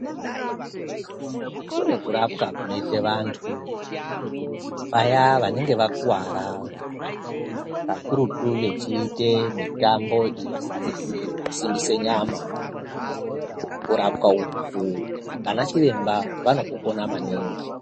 Kune kurapwa kunoite vantu vaya vanenge vakuvara kakurutu vechiite mitambo ino simbisa nyama kurapwa uku ana chiremba anoku kone maningi.